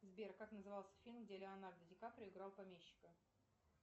сбер как назывался фильм где леонардо ди каприо играл помещика